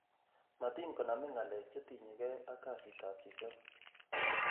Matin konamin ng'alek che tinye gee ak kasitab chichok.